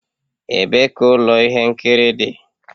Ebee ka ụlọ ihe nkiri dị.?